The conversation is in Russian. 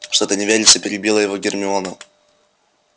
что-то не верится перебила его гермиона